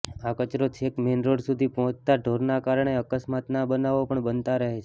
આ કચરો છેક મેઈન રોડ સુધી પહોંચતા ઢોરના કારણે અકસ્માતના બનાવો પણ બનતા રહે છે